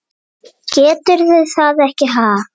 Geturðu það ekki, ha?